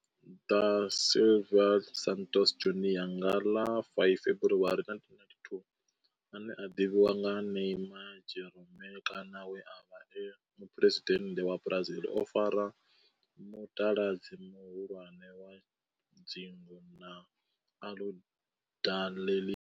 Da Silva Santos Junior nga ḽa 5 February 1992, ane a ḓivhiwa sa Neymar' Jeromme kana we a vha e muphuresidennde wa Brazil o fara mutaladzi muhulwane wa dzingu na Aludalelia.